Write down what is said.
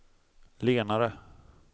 lenare